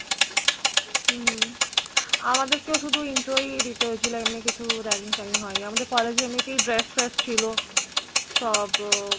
হম আমাদের কে শুধু intro হয়েছিল এমনি কিছু ragging fragging হয়নি আমাদের college meet এই dress fresh ছিল সব